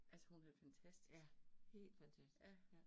Altså hun er fantastisk. Ja